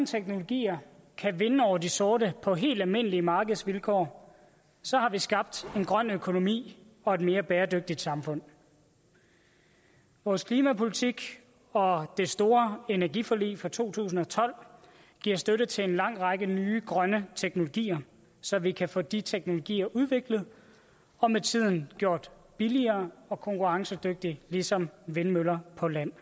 teknologier kan vinde over de sorte på helt almindelige markedsvilkår så har vi skabt en grøn økonomi og et mere bæredygtigt samfund vores klimapolitik og det store energiforlig fra to tusind og tolv giver støtte til en lang række nye grønne teknologier så vi kan få de teknologier udviklet og med tiden gjort billigere og konkurrencedygtige ligesom vindmøller på land